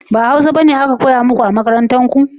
ba hausa bane makarantar ku ya koya muku ba?